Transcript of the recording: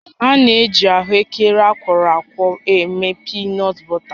A na-eji ahụekere akwọrọ akwọ eme piinọt bọta